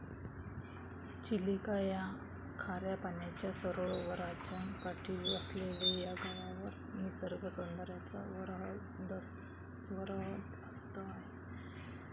चिलिका या खाऱ्या पाण्याच्या सरोवराच्या काठी वसलेले या गावावर निसर्गसौदर्याचा वरदहस्त आहे.